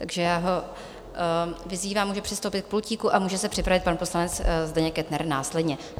Takže já ho vyzývám, může přistoupit k pultíku, a může se připravit pan poslanec Zdeněk Kettner následně.